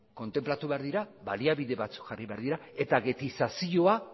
kontenplatu behar dira baliabide batzuk jarri behar dira eta ghettizazioa